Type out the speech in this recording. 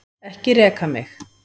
Ekki reka mig.